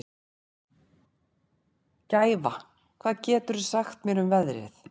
Gæfa, hvað geturðu sagt mér um veðrið?